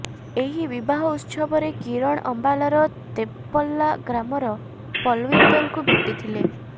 ଏହି ବିବାହ ଉତ୍ସବରେ କିରଣ ଅମ୍ବାଲାର ତେପଲ୍ଲା ଗ୍ରାମର ପଲୱିନ୍ଦରଙ୍କୁ ଭେଟିଥିଲେ